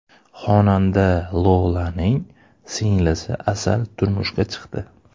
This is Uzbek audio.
Xonanda Lolaning singlisi Asal turmushga chiqdi .